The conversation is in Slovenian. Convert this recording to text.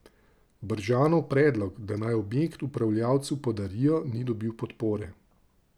Bržanov predlog, da naj objekt upravljavcu podarijo, ni dobil podpore.